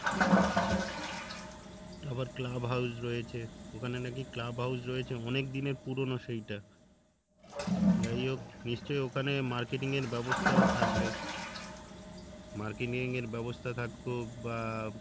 একটা আবার club house রয়েছে ওখানে নাকি club house রয়েছে অনেক দিনের পুরনো সেইটা যাইহোক নিশ্চয় ওখানে marketing এর ব্যবস্থাও থাকবে marketing এর ব্যবস্থা থাকুক বা